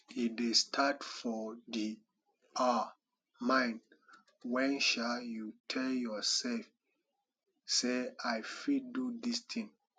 e dey start for di um mind when um you tell your self sey i fit do dis ting